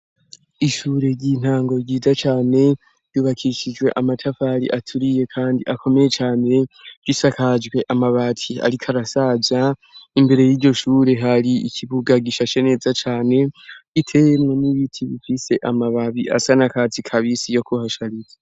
Ishure ry'intango ryiza cane, ryubakishijwe amatafari aturiye kandi akomeye cane, risakajwe amabati ariko arasaza, imbere y'iryo shure hari ikibuga gishashe neza cane, giteyemwo n'ibiti bifise amababi asa n'akatsi kabisi yo kuhashariza.